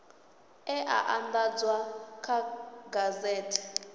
e a andadzwa kha gazethe